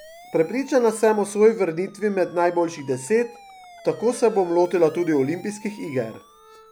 Prepričana sem o svoji vrnitvi med najboljših deset, tako se bom lotila tudi olimpijskih iger.